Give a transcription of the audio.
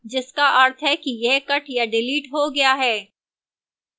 जिसका अर्थ है कि यह cut या डिलीट हो गया है